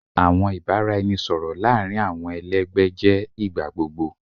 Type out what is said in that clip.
Awọn ibaraẹnisọrọ laarin awọn ẹlẹgbẹ jẹ igbagbogbo